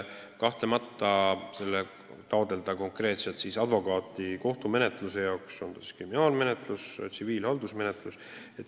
Kahtlemata on keeruline taotleda konkreetset advokaati kohtumenetluseks, on see siis kriminaalmenetlus või tsiviilhaldusmenetlus.